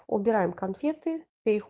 убираем конфеты перед